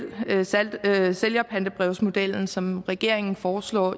sælgerpantebrevsmodel som regeringen foreslår